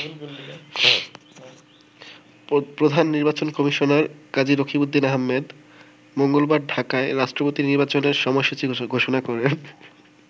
প্রধান নির্বাচন কমিশনার কাজী রকিবউদ্দীন আহমেদ মঙ্গলবার ঢাকায় রাষ্ট্রপতি নির্বাচনের সময়সূচি ঘোষণা করেন।